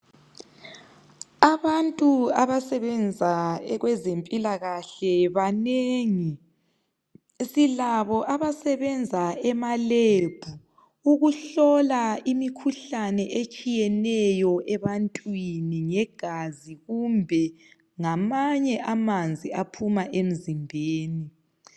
Abantu abasebenza kwezempilakahle banengi. Silabo abasebenza emalebhu ukuhlola imikhuhlane etshiyeneyo ebantwini ngegazi kumbe ngamanye amanzi aphuma emzimbeni.